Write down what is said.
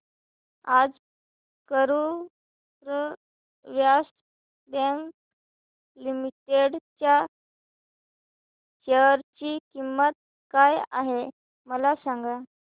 आज Karur Vysya bank limited च्या share ची किंमत काय आहे मला सांगा